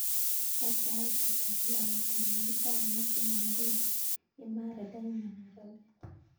Wany sait ata koloboti garit ab maat chumambili imara daima nairobi